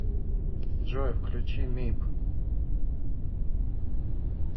джой включи мип